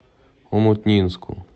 омутнинску